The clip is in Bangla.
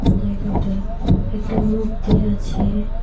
জায়গাটা একটা মূর্তি আছে।